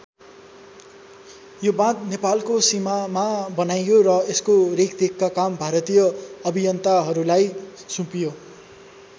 यो बाँध नेपालको सीमामा बनाइयो र यसको रेखदेखको काम भारतीय अभियन्ताहरूलाई सुम्पियो।